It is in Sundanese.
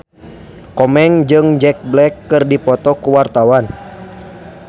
Komeng jeung Jack Black keur dipoto ku wartawan